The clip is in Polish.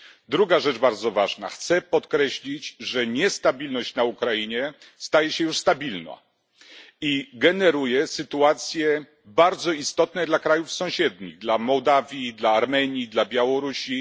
Druga bardzo ważna sprawa chcę podkreślić, że niestabilność na Ukrainie staje się już stabilna i generuje sytuacje bardzo istotne dla krajów sąsiednich dla Mołdawii, dla Armenii, dla Białorusi.